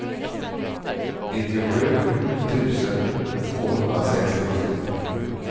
nittiosju tusen tvåhundrasextiotvå